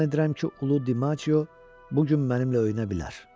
Güman edirəm ki, ulu Dimaçiyo bu gün mənimlə öynə bilər.